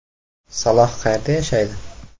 Saloh qayerda yashaydi?